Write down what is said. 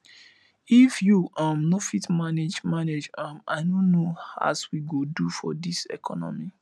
if you um no fit manage manage um i no know as we go do for dis economy